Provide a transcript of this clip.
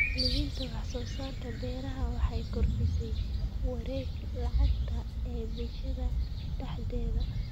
Iibinta wax soo saarka beeraha waxay kordhisaa wareegga lacagta ee bulshada dhexdeeda.